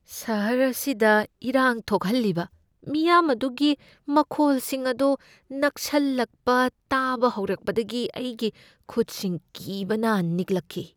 ꯁꯍꯔ ꯑꯁꯤꯗ ꯏꯔꯥꯡ ꯊꯣꯛꯍꯜꯂꯤꯕ ꯃꯤꯌꯥꯝ ꯑꯗꯨꯒꯤ ꯃꯈꯣꯜꯁꯤꯡ ꯑꯗꯨ ꯅꯛꯁꯜꯂꯛꯄ ꯇꯥꯕ ꯍꯧꯔꯛꯄꯗꯒꯤ ꯑꯩꯒꯤ ꯈꯨꯠꯁꯤꯡ ꯀꯤꯕꯅ ꯅꯤꯛꯂꯛꯈꯤ ꯫